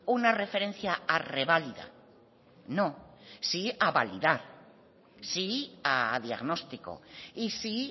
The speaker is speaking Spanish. una referencia a reválida no sí a validar sí a diagnóstico y sí